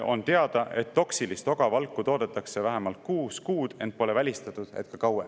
On teada, et toksilist ogavalku toodetakse vähemalt kuus kuud, ent pole välistatud, et ka kauem.